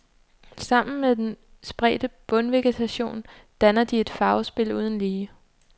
Sammen med den spredte bundvegetation danner de et farvespil uden lige.